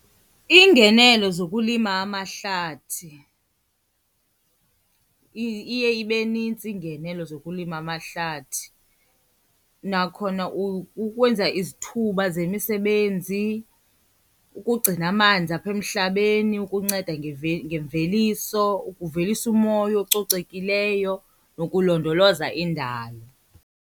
Ingenelo zokulima amahlathi, iye ibe nintsi iingenelo zokulima amahlathi. Nakhona ukwenza izithuba zemisebenzi, ukugcina amanzi apha emhlabeni, ukunceda ngemveliso, ukuvelisa umoya ococekileyo nokulondoloza indalo.